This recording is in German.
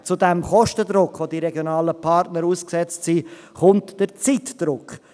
Zu diesem Kostendruck, dem die regionalen Partner ausgesetzt sind, kommt der Zeitdruck.